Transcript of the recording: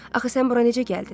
Axı sən bura necə gəldin?